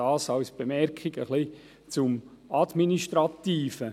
Dies als Bemerkung zum Administrativen.